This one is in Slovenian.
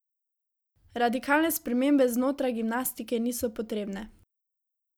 Radikalne spremembe znotraj gimnastike niso potrebne.